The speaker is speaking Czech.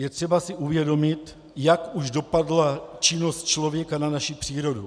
Je si třeba uvědomit, jak už dopadla činnost člověka na naši přírodu.